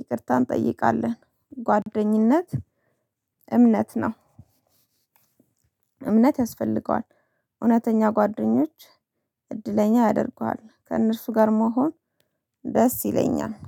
ይቅርታ እንጠይቃለን። ጓደኝነት እምነት ነው። እምነት ያስፈልገዋል። እውነተኛ ጓደኞች እድለኛ ያደርጉሃል ከእነርሱ ጋር መሆን ደስ ይለኛል